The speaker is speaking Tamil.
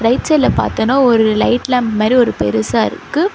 ரைட் சைடுல பாத்தேனா ஒரு லைட் லேம்ப் மேரி ஒரு பெருசா இருக்கு.